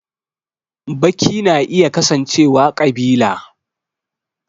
Baki na iya kasancewa ƙabila